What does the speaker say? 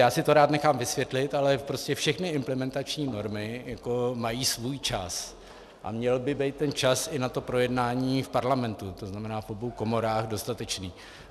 Já si to rád nechám vysvětlit, ale prostě všechny implementační normy jako mají svůj čas a měl by být ten čas i na to projednání v Parlamentu, to znamená v obou komorách, dostatečný.